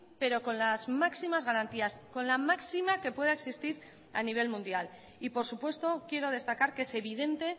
pero con las máximas garantías con la máxima que pueda existir a nivel mundial y por supuesto quiero destacar que es evidente